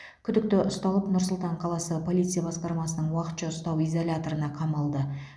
күдікті ұсталып нұр сұлтан қаласы полиция басқармасының уақытша ұстау изоляторына қамалды